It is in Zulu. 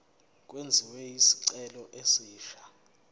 kwenziwe isicelo esisha